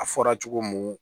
A fɔra cogo mun